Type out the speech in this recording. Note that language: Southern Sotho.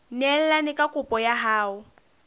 neelane ka kopo ya hao